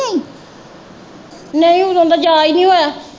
ਨਈਂ ਉਦੋਂ ਦਾ ਜਾ ਈ ਨਈਂ ਹੋਇਆ।